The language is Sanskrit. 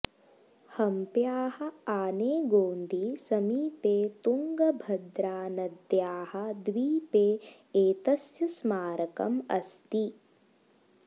हम्प्याः आनेगोन्दी समीपे तुङ्गभद्रानद्याः द्वीपे एतस्य स्मारकम् अस्ति